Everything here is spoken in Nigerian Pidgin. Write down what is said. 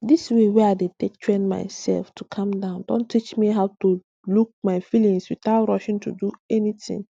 this way wey i dey take train myself to calm down don teach me how to just look my feelings without rushing do anything